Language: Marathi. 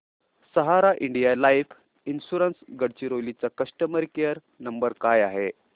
सहारा इंडिया लाइफ इन्शुरंस गडचिरोली चा कस्टमर केअर नंबर काय आहे